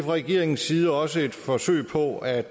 regeringens side også et forsøg på at